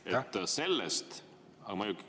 Aitäh!